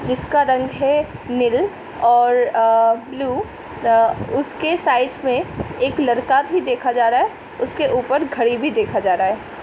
जिसका रंग है निल और अ ब्लू उसके साइड में एक लड़का भी देखा जा रहा है उसके ऊपर घड़ी भी देखा जा रहा है।